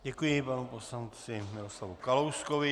Děkuji panu poslanci Miroslavu Kalouskovi.